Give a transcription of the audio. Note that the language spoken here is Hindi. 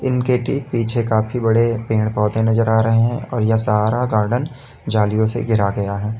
उनके ठीक पीछे काफी बड़े पेड़ पौधे नजर आ रहे हैं और यह सारा गार्डन जालियों से घिरा गया है।